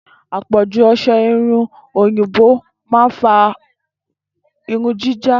Àpọ̀ju ọsẹ-irun oyinbo ma ń fa irun jíjá.